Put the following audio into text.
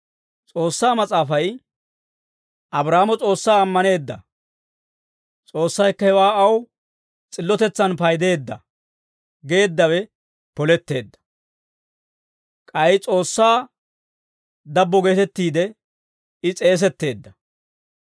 S'oossaa Mas'aafay «Abraahaamo S'oossaa ammaneedda. S'oossaykka hewaa aw s'illotetsan paydeedda» geeddawe poletteedda; k'ay S'oossaa dabbo geetettiide I s'eesetteedda.